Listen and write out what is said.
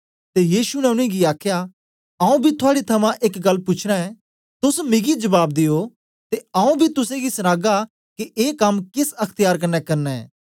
ते यीशु ने उनेंगी आखया आऊँ बी थुआड़े थमां एक गल्ल पूछना ऐं तोस मिगी जबाब दियो ते आऊँ बी तुसेंगी सनागा के ऐ कम केस अख्त्यार कन्ने करना ऐं